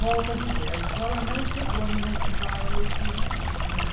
Volto a dizer, a escola não chegou a me motivar a leitura, não. Não